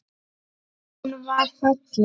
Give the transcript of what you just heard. Hún var falleg.